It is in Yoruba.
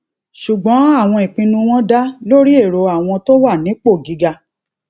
ṣùgbọn àwọn ìpinnu wọn dá lórí èrò àwọn tó wà nípò gíga